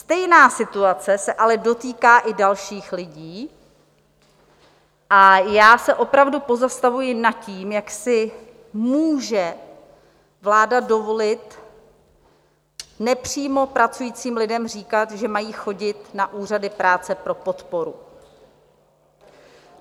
Stejná situace se ale dotýká i dalších lidí a já se opravdu pozastavuji nad tím, jak si může vláda dovolit nepřímo pracujícím lidem říkat, že mají chodit na úřady práce pro podporu.